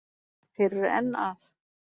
Þeir eru enn að